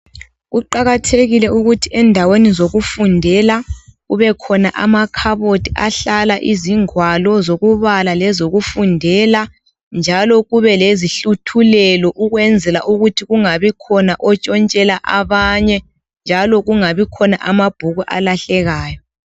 Kuqakathekile ukuthi endaweni zokufundela kubekhona amakhabothi hlala ingwalo zokubala lezokufundela njalo kube lezihluthulelo ukwenzela ukuthi kungabikhona otshontshela abanye njalo kungabikhona amabhuku alahlekayo.